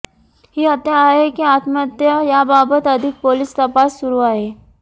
ही हत्या आहे की आत्महत्या याबाबत अधिक पोलिस तपास सुरू आहे